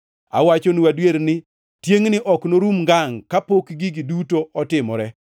“Awachonu adier ni, tiengʼni ok norum ngangʼ kapok gigi duto otimore.